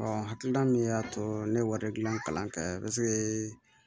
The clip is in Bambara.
hakilina min y'a to ne ye wari gilan kalan kɛ